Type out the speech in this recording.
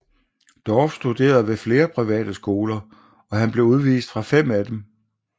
Dorff studerede ved flere private skoler og han blev udvist fra fem af disse